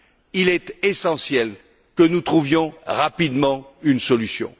Il est essentiel que nous trouvions rapidement une solution.